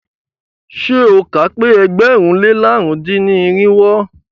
Ṣé o kà á pẹ́ ẹgbẹ̀rún lé làrún dín ní irinwó?